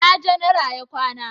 ina janara ya kwana?